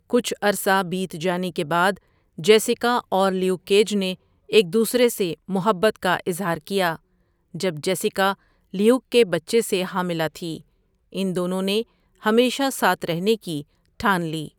کُچھ عرصہ بیت جانے کے بعد جیسکا اور لیوک کیج نے ایک دوسرے سے مُحبّت کا اِظہار کیا جب جیسکا لیوک کے بچے سے حاملہ تھی، اِن دونوں نے ہمیشہ ساتھ رہنے کی ٹھان لی.